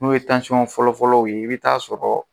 N'o ye fɔlɔ-fɔlɔ ye i bɛ t'a sɔrɔ